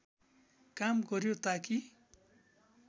काम गर्‍यो ताकि